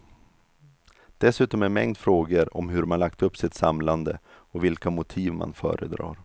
Dessutom en mängd frågor om hur man lagt upp sitt samlande och vilka motiv man föredrar.